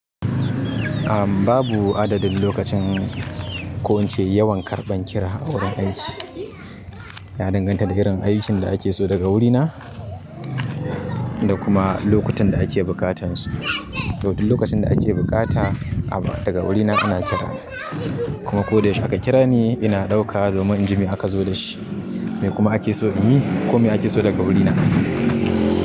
A'a babu adadin lokacin ko incr yawan karɓan kira a wurin aiki. Ya danganta da irin aikin da ake so daga wurina, da kuma lokutan da ake buƙatan su. To duk lokacin da ake buƙata abu daga wurina ana kira ni. Kuma ko da yaushe aka kira ni ina ɗauka domin in ji me aka zo da shi. Me kuma ake so in yi ko me ake so daga wurina.